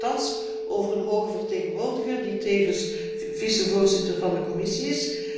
We beschikken thans over een hoge vertegenwoordiger die tevens vicevoorzitter van de Commissie is.